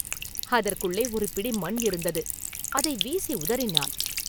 அதற்குள்ளே ஒரு பிடி மண் இருந்தது அதை வீசி உதறினான்.